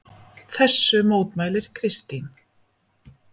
Þessu mótmælir Kristín.